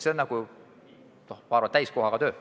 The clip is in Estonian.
Ma arvan, et see on täiskohaga töö.